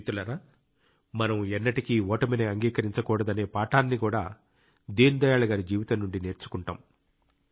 మిత్రులారా మనం ఎన్నటికీ ఓటమిని అంగీకరించకూడదనే పాఠాన్ని కూడా దీన్ దయాళ్ గారి జీవితం నుండి నేర్చుకుంటాం